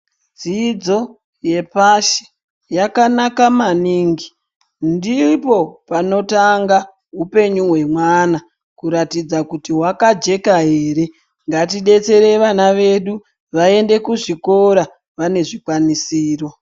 Dzidzo yepashi yakanaka maningi, ndipo panotanga upenyu wemwana kuratidza kuti wakajeka here, ngati detsere vana vedu vaende kuzvikora vane zvikwanisiro.